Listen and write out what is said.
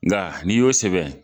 Nka n'i y'o sɛbɛn